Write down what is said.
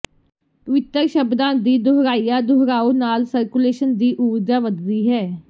ਪਵਿਤਰ ਸ਼ਬਦਾਂ ਦੀ ਦੁਹਰਾਇਆ ਦੁਹਰਾਓ ਨਾਲ ਸਰਕੂਲੇਸ਼ਨ ਦੀ ਊਰਜਾ ਵੱਧਦੀ ਹੈ